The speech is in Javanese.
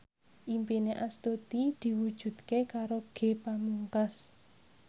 impine Astuti diwujudke karo Ge Pamungkas